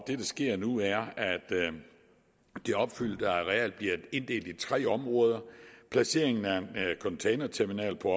det der sker nu er at det opfyldte areal bliver inddelt i tre områder placeringen af en containerterminal på